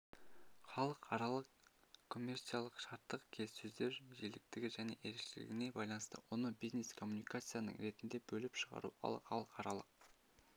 халықаралық коммерциялық шарттық келіссөздер жиіліктігі және ерекшелігіне байланысты оны бизнес-коммуникацияның ретінде бөліп шығару ал халықаралық